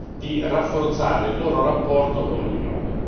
di rafforzare il loro rapporto con l'Unione.